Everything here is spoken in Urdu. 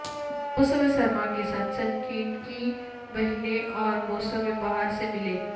موسم سرما کے ساتھ سنچنکی بہنیں اور موسم بہار سے ملیں